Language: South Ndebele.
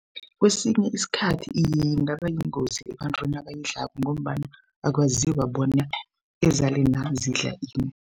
Kwesinye isikhathi ingabayingozi ebantwini abayidlako ngombana akwaziwa bona ezalena zidla ini.